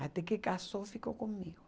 Até que casou, ficou comigo.